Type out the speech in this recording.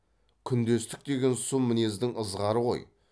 күндестік деген сұм мінездің ызғары ғой